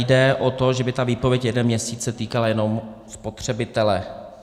Jde o to, že by ta výpověď jeden měsíc se týkala jenom spotřebitele.